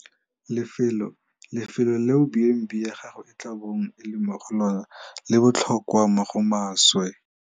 Lefelo - Lefelo leo B and B ya gago e tla bong e le mo go lona le botlhokwa mo go maswe.